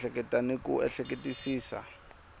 ku ehleketa ni ku ehleketisisa